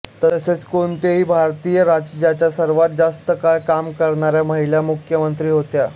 तसेच कोणत्याही भारतीय राज्याच्या सर्वात जास्त काळ काम करणाऱ्या महिला मुख्यमंत्री होत्या